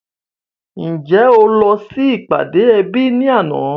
Ǹjẹ́ o lọ sí ìpàdé ẹbí ní àná?